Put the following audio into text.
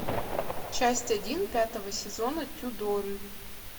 часть один пятого сезона тюдоры